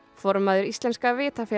formaður Íslenska